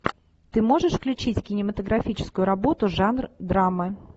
ты можешь включить кинематографическую работу жанр драмы